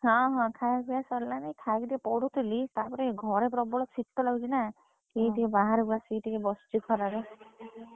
ହଁ ହଁ ଖାୟା ପିୟା ସରିଲାଣି। ଖାଇକି ଟିକେ ପଢୁଥିଲି ତାପରେ ଘରେ ପ୍ରବଳ ଶୀତ ଲାଗୁଛିନା ଏଇ ଟିକେ ବାହାରେ ଆସିକି ଟିକେ ବସିଛି ଖରାରେ।